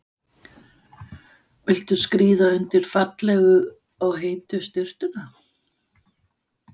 Viltu skríða undir fallegu og heitu sturtuna?